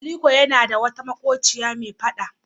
Aliko yana da wata maƙociya mai faɗa.